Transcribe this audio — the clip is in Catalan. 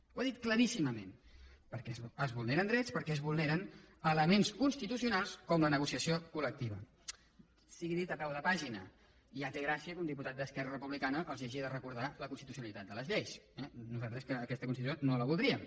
ho ha dit claríssimament perquè es vulneren drets perquè es vulneren elements constitucionals com la negociació colsigui dit a peu de pàgina ja té gràcia que un diputat d’esquerra republicana els hagi de recordar la constitucionalitat de les lleis eh nosaltres que aquesta constitució no la voldríem